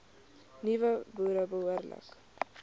nuwe boere behoorlik